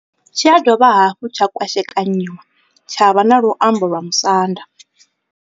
Tshi ya dovha hafhu tsha kwashekanyiwa tsha vha na luambo lwa Musanda.